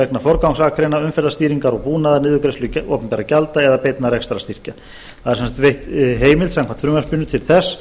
vegna forgangsakreina umferðarstýringar og búnaðarniðurgreiðslu opinberra gjalda eða beinna rekstrarstyrkja það er sem sagt veitt heimild samkvæmt frumvarpinu til þess